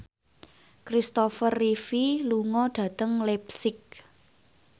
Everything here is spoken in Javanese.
Kristopher Reeve lunga dhateng leipzig